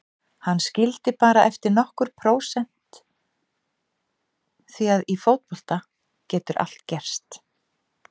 Hann skildi bara eftir nokkur prósent því að í fótbolta getur allt gerst.